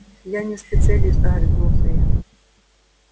я не специалист огрызнулся я